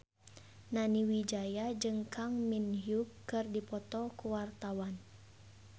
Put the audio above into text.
Nani Wijaya jeung Kang Min Hyuk keur dipoto ku wartawan